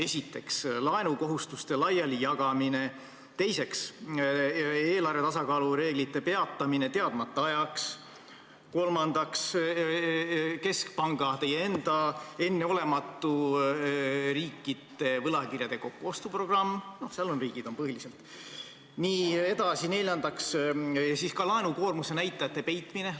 Esiteks, laenukohustuste laialijagamine; teiseks, eelarve tasakaalu reeglite peatamine teadmata ajaks; kolmandaks, keskpanga, st teie enda enneolematu riikide võlakirjade kokkuostu programm ; neljandaks, laenukoormuse näitajate peitmine.